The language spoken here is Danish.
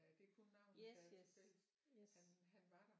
Det er kun navnet der er tilfælles han han var der